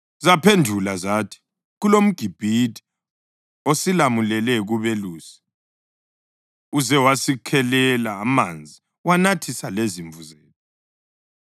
Zaphendula zathi, “KulomGibhithe osilamulele kubelusi. Uze wasikhelela amanzi wanathisa lezimvu zethu.”